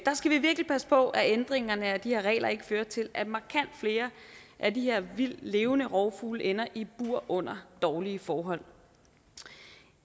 skal vi virkelig passe på at ændringerne af de her regler ikke fører til at markant flere af de her vildtlevende rovfugle ender i bur under dårlige forhold